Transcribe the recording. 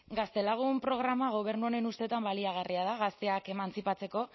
gaztelagun programa gobernu honen ustetan baliagarria da gazteak emantzipatzeko